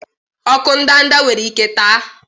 ọkụ ndanda nwere ike taa?